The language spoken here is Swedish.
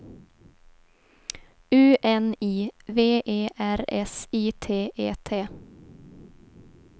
U N I V E R S I T E T